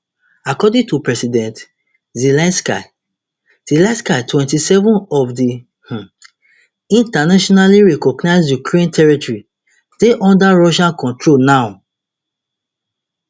according to president zelensky zelensky twenty-seven of di um internationally recognised ukraine territory dey under russia control now